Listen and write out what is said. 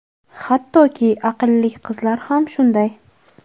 Hattoki, aqlli qizlar ham shunday.